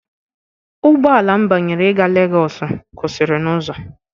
Ụgbọ ala m banyere ịga Legosu kwụsịrị n'ụzọ.